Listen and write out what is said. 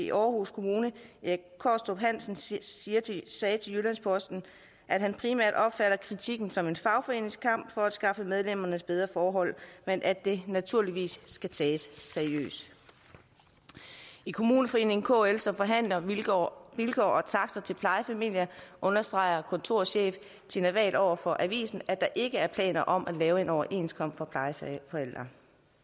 i aarhus kommune erik kaastrup hansen siger siger til jyllands posten at han primært opfatter kritikken som en fagforenings kamp for at skaffe medlemmerne bedre forhold men at det naturligvis skal tages seriøst i kommuneforeningen kl som forhandler vilkår og takster til plejefamilier understreger kontorchef tina wahl over for avisen at der ikke er planer om at lave en overenskomst for plejeforældre